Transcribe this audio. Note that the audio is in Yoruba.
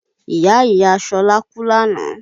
Ìyá Ìyá Ṣọlá kú lánàá